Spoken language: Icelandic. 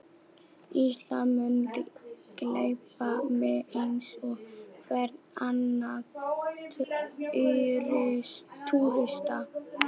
Ísland mun gleypa mig eins og hvern annan túrista.